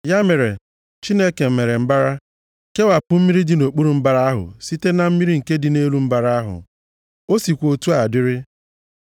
Ya mere, Chineke mere mbara, kewapụ mmiri dị nʼokpuru mbara ahụ site na mmiri nke dị nʼelu mbara ahụ. O sikwa otu a dịrị.